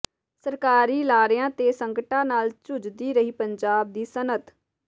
ਸਰਕਾਰੀ ਲਾਰਿਆਂ ਤੇ ਸੰਕਟਾਂ ਨਾਲ ਜੂਝਦੀ ਰਹੀ ਪੰਜਾਬ ਦੀ ਸਨਅਤ